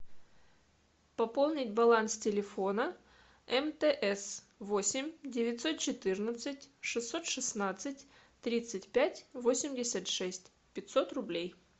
пополнить баланс телефона мтс восемь девятьсот четырнадцать шестьсот шестнадцать тридцать пять восемьдесят шесть пятьсот рублей